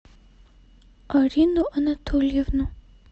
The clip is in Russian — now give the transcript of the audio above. арину анатольевну